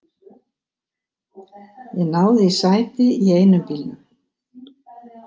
Ég náði í sæti í einum bílnum.